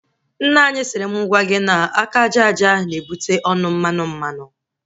Nne anyị siri mụ gwa gị na aka aja aja na-ebute ọnụ mmanụ mmanụ